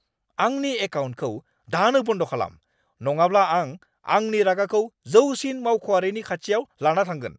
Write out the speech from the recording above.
आंनि एकाउन्टखौ दानो बन्द खालाम, नङाब्ला आं आंनि रागाखौ जौसिन मावख'आरिनि खाथियाव लाना थांगोन।